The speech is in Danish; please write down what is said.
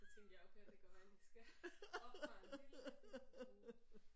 Så tænkte jeg okay det kan godt være jeg lige skal oppe mig en lillebitte smule